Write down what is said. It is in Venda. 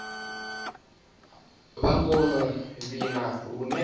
vha dzo no vhina lune